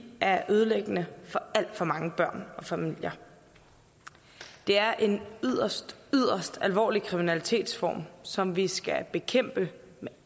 er ødelæggende for alt for mange børn og familier det er en yderst yderst alvorlig kriminalitetsform som vi skal bekæmpe med